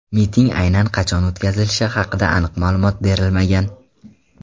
Miting aynan qachon o‘tkazilishi haqida aniq ma’lumot berilmagan.